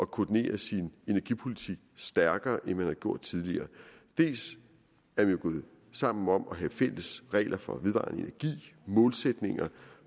koordinere sin energipolitik stærkere end man har gjort tidligere dels er vi jo gået sammen om at have fælles regler for vedvarende energi målsætninger